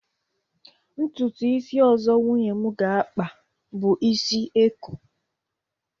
ntutu isi ozo Nwunye m ga akpa bu isi eko